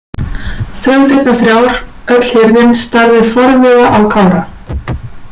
Þrautirnar þrjár Öll hirðin starði forviða á Kára.